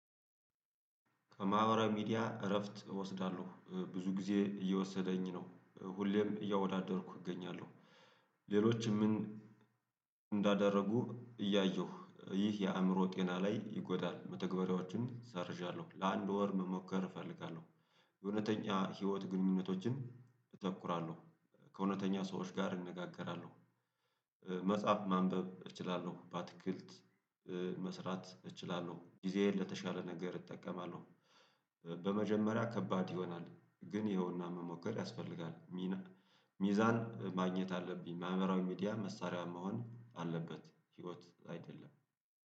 ከማህበራዊ ሚዲያ እረፍት እወስዳለሁ፣ ብዙ ጊዜ እየወሰደኝ ነው፣ ሁሌም እያወዳደርኩ እገኛለሁ። ሌሎችም ምን እንዳደረጉ እያየሁ ይህ የአእምሮ ጤና ላይ ይጎዳል መተግባራዎችን ሰርዣለሁ። ለአንድ ወር መሞከር እፈልጋለሁ። የእውነተኛ ህይወት ግንኙነቶችን እተኩራለሁ። ከእውነተኛ ሰዎች ጋር እንነጋገራለሁ መጽሐፍ ማንበብ እችላለሁ፣ በአትክልት መስራት እችላለሁ፣ ጊዜዬን ለተሻለ ነገር እጠቀማለሁ በመጀመሪያ ከባድ ይሆናል ግን ይኸውና መሞከር ያስፈልጋል፣ ሚና ሚዛን ማግኘት አለብኝ ማህበራዊ ሚዲያ መሳሪያ መሆን አለበት ህይወት አይደለም